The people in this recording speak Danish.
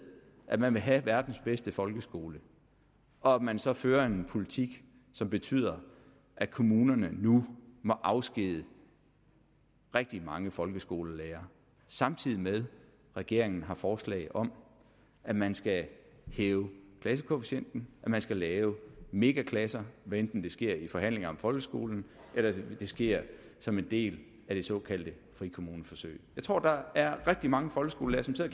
at man vil have verdens bedste folkeskole og at man så fører en politik som betyder at kommunerne nu må afskedige rigtig mange folkeskolelærere samtidig med at regeringen har forslag om at man skal hæve klassekvotienten at man skal lave megaklasser hvad enten det sker i forhandlingerne om folkeskolen eller det sker som en del af det såkaldte frikommuneforsøg jeg tror at der er rigtig mange folkeskolelærere